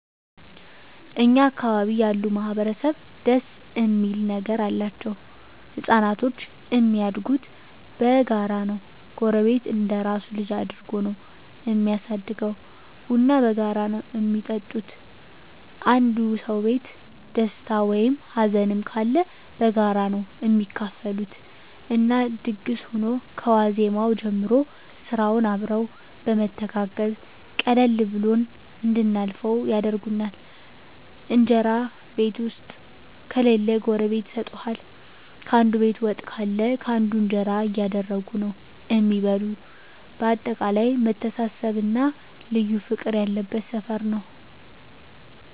እኛ አካባቢ ያሉ ማህበረሰብ ደስ እሚል ነገር አላቸዉ። ህፃናቶች እሚያድጉት በጋራ ነዉ ጎረቤት እንደራሱ ልጅ አድርጎ ነዉ እሚያሳድገዉ፣ ቡና በጋራ ነዉ እሚጠጡት፣ አንዱ ሰዉ ቤት ደስታ ወይም ሀዘንም ካለ በጋራ ነዉ እሚካፈሉት እና ድግስ ሁኖ ከዋዜማዉ ጀምሮ ስራዉንም አብረዉ በመተጋገዝ ቀለል ብሎን እንድናልፈዉ ያደርጉናል። እንጀራ ቤት ዉስጥ ከሌለ ጎረቤት ይሰጡሀል፣ ካንዱ ቤት ወጥ ካለ ካንዱ እንጀራ እያደረጉ ነዉ እሚበሉ በአጠቃላይ መተሳሰብ እና ልዩ ፍቅር ያለበት ሰፈር ነዉ።